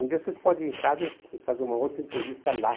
Um dia vocês podem ir em casa e e fazer uma outra entrevista lá.